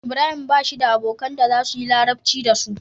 Ibrahim bashi da abokan da zasuyi larabci dasu